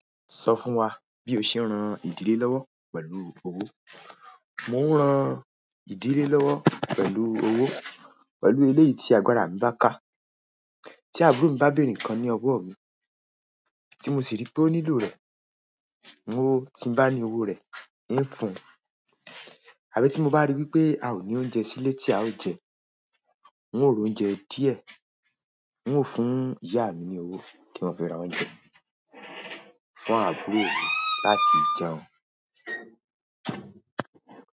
Sọ fún wa bí o ṣe ń ran ìdílé lọ́wọ́ pẹ̀lú owó. Mo ń ran ìdílé lọ́wọ́ pẹ̀lú owó pẹ̀lú eléyìí tí àgbàrá mi bá ká, tí àbúrò mi bá bèèrè nǹkan ní ọwọ́ mi, tí mo sì rí pé ó nílò rẹ̀, mo tí ń bá ní owó rẹ̀, ń fún. Àbí tí mo bá rí wípé a ò ní oúnjẹ sílé tí a ó jẹ, n ó r'oúnjẹ díẹ̀, n ó fún ìyá mi ní owó kí wọ́n fi ra oúnjẹ fún àbúrò mi láti jẹun.